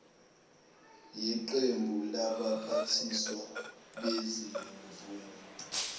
yeqembu labaphathiswa bezimvume